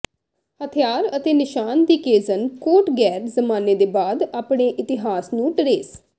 ਹਥਿਆਰ ਅਤੇ ਨਿਸ਼ਾਨ ਦੀ ਕੇਜ਼ਨ ਕੋਟ ਗ਼ੈਰ ਜ਼ਮਾਨੇ ਦੇ ਬਾਅਦ ਆਪਣੇ ਇਤਿਹਾਸ ਨੂੰ ਟਰੇਸ